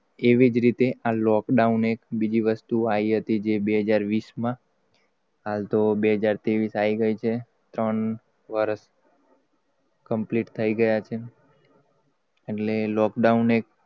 એવી જ રીત આ lockdown એક બીજી વસ્તુ આઈ હતી, જે બે હજાર વિશ માં હાલ તો બે હજાર ત્રેવીશ આઈ ગઈ છે. ત્રણ વરશ complete થઈ ગયા છે? એટ્લે lockdown